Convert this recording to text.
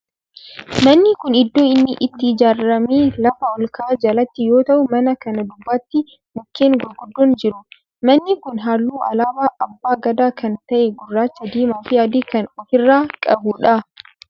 Manni kun iddoo inni itti ijaarame lafa olka'aa jalatti yoo ta'u mana kana duubatti mukkeen gurguddoon jiru. manni kun halluu alaabaa abbaa Gadaa kan ta'e gurraacha, diimaa fi adii kan of irraa qabudha.